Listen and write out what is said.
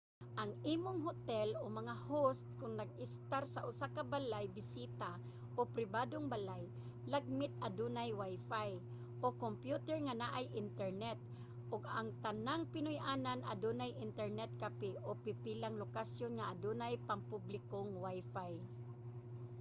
ang imong hotel o mga host kon nag-estar sa usa ka balay-bisita o pribadong balay lagmit adunay wifi o kompyuter nga naay internet ug ang tanang pinuy-anan adunay internet cafe o pipilang lokasyon nga adunay pangpublikong wifi